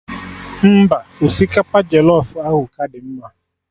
Mba, osikapa jọlọf ahụ ka dị mma